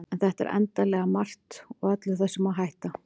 en þetta er endanlega margt og öllu þessu má hætta